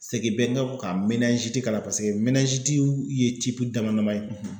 Segin bɛ kan k'a la paseke ye dama dama ye.